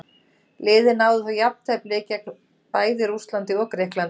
Liðið náði þó jafntefli gegn bæði Rússlandi og Grikklandi.